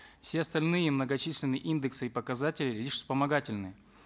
все остальные многочисленные индексы и показатели лишь вспомогательные